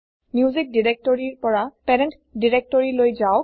music দিৰেক্তৰিৰ পৰা parent দিৰেক্তৰিলৈ যাওক